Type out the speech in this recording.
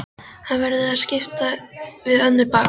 Hann verður að skipta við önnur bakarí.